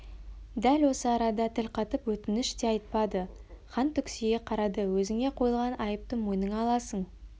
дәл осы арада тіл қатып өтініш те айтпады хан түксие қарады өзіңе қойылған айыпты мойныңа аласың